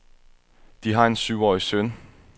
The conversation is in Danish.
De har en syvårig søn.